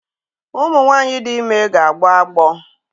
Ụmụ nwanyị dị ime na-agbọ agbọ